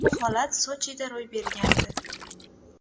Bu holat Sochida ro‘y bergandi.